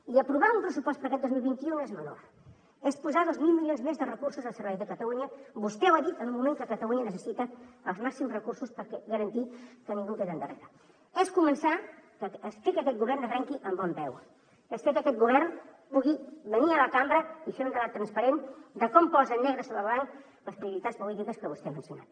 i aprovar un pressupost per aquest dos mil vint u no és menor és posar dos mil milions més de recursos al servei de catalunya vostè ho ha dit en un moment que catalunya necessita els màxims recursos per garantir que ningú quedi endarrere és començar a fer que aquest govern arrenqui amb bon peu és fer que aquest govern pugui venir a la cambra i fer un debat transparent de com posen negre sobre blanc les prioritats polítiques que vostè ha mencionat